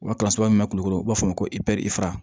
Wa kalanso min bɛ kulukoro u b'a fɔ ma ko